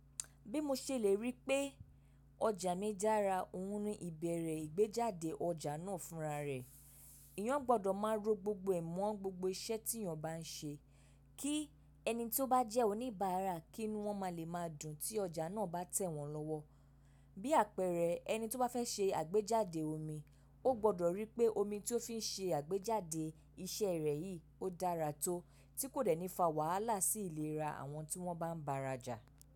Bí mo ṣe lè rí pé ọjà mi dára, òun ni ìbẹ̀rẹ̀ ìgbéjáde ọjà náà fúnra rẹ̀. Èèyàn gbọdọ̀ máa rò gbogbo ẹ̀ mọ́ gbogbo iṣẹ́ tí èèyàn bá ń ṣe. Kí ẹni tí ó bá jẹ́ oníbàárà kí nu wọ́n máa le máa dùn tí ọjà náà bá tẹ̀ wọ́n lọ́wọ́. Bí àpẹẹrẹ ẹni tí ó bá fẹ́ ṣe àgbéjáde omi, ó gbọdọ̀ rí pé omi tí ó fi ń ṣe àgbéjáde iṣẹ́ rẹ̀ yìí ó dára tó, tí kò dẹ́ni fa wàhálà sí ìlera àwọn tí wọ́n bá ń bara jà.